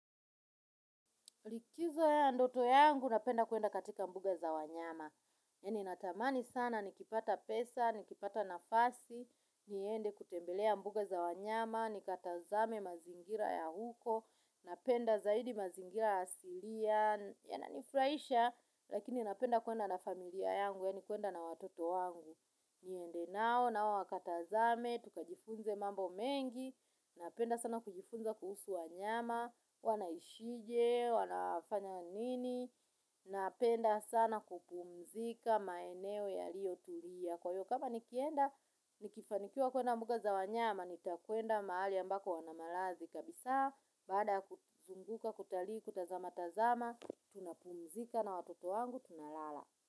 Likizo ya ndoto yangu napenda kwenda katika mbuga za wanyama. Yani natamani sana nikipata pesa, nikipata nafasi, niende kutembelea mbuga za wanyama, nikatazame mazingira ya huko, napenda zaidi mazingira asilia, yananifurahisha, lakini napenda kwenda na familia yangu yanikwenda na watoto wangu. Niendenao nao wakatazame, tukajifunze mambo mengi, napenda sana kujifunza kuhusu wanyama, wanaishije, wanafanya nini, napenda sana kupumzika maeneo yalio tulia. Kwa hivyo kama nikienda, nikifanikiwa kwenda mbuga za wanyama, nitakwenda mahali ambako wanamalazi kabisa, baada kuzunguka, kutalii, kutazama, tazama, tunapumzika na watoto wangu, tunalala.